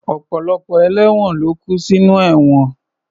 Ọ̀pọ̀lọpọ̀ ẹlẹ́won ló kú sinú ẹ̀wọ̀n